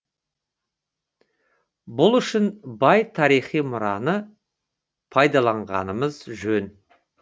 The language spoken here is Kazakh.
бұл үшін бай тарихи мұраны пайдаланғанымыз жөн